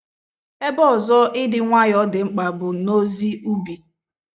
Ebe ọzọ ịdị nwayọọ dị mkpa bụ n’ozi ubi.